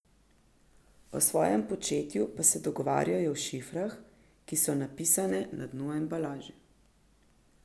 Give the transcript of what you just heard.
O svojem početju pa se dogovarjajo v šifrah, ki so napisane na dnu embalaže.